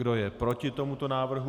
Kdo je proti tomuto návrhu?